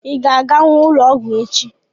Ị ga-aganwu ụlọọgwụ echi?